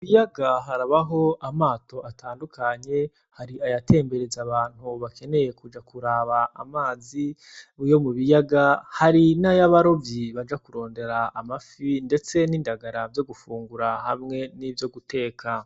Mu kiyaga harabaho amato atandukanye, hari ayatembereza abantu bakeneye kuja kuraba amazi yo mu biyaga, hari n'ayabarovyi baja kurondera amafi ndetse n'indagara vyo gufungura hamwe n'ivyo guteka.